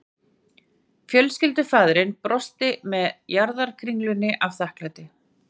Fjölskyldufaðirinn brosti með jarðarkringlunni af þakklæti